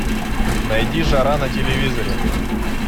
найди жара на телевизоре